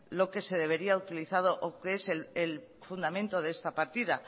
lo que se debería utilizar o que es el fundamento de esta partida